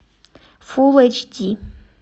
фулл эйч ди